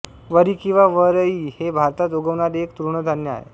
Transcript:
वरी किंवा वरई हे भारतात उगवणारे एक तृणधान्य आहे